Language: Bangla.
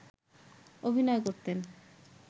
অভিনয় করতেন